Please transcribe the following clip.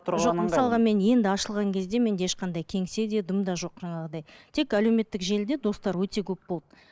жоқ мысалға мен енді ашылған кезде менде ешқандай кеңсе де дым да жоқ жаңағыдай тек әлеуметтік желіде достар өте көп болды